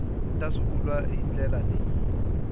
ta swivulwa hi ndlela leyi